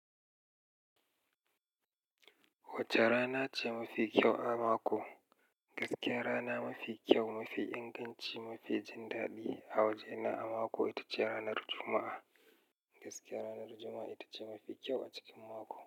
Wace rana ce mafi kyau a mako? Gaskiya rana mafi kyau, mafi inganci, mafi jin daɗi a waje na a mako ita ce ranar Juma'a. Gaskiya ranar Juma'a ita ce mafi kyau a cikin mako.